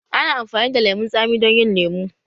Ana amfani da lemun tsami don yin lemu